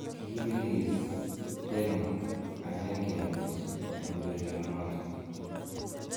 Kiibelis Denmark 1-0 en urerionoton.